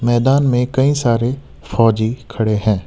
मैदान में कई सारे फौजी खड़े हैं।